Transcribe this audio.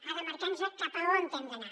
ha de marcar nos cap a on hem d’anar